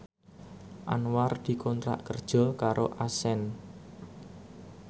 Anwar dikontrak kerja karo Accent